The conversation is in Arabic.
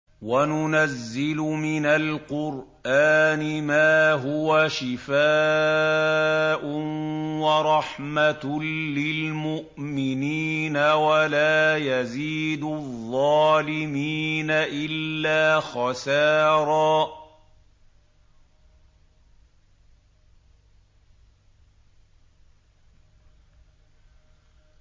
وَنُنَزِّلُ مِنَ الْقُرْآنِ مَا هُوَ شِفَاءٌ وَرَحْمَةٌ لِّلْمُؤْمِنِينَ ۙ وَلَا يَزِيدُ الظَّالِمِينَ إِلَّا خَسَارًا